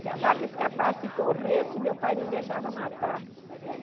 Se a vaca escapasse e corresse, meu pai não deixava matar.